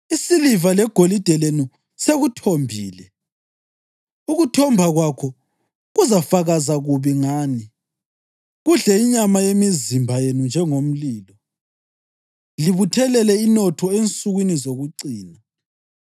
Isiliva legolide lenu sekuthombile. Ukuthomba kwakho kuzafakaza kubi ngani, kudle inyama yemizimba yenu njengomlilo. Libuthelele inotho ensukwini zokucina.